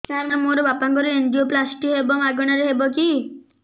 ସାର ମୋର ବାପାଙ୍କର ଏନଜିଓପ୍ଳାସଟି ହେବ ମାଗଣା ରେ ହେବ କି